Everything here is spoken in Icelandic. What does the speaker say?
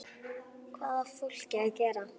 Hvað á fólkið að gera?